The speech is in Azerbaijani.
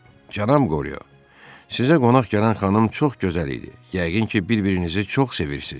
Cənab Qoryo, sizə qonaq gələn xanım çox gözəl idi, yəqin ki, bir-birinizi çox sevirsiniz.